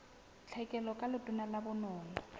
tlhekelo ka letona la bonono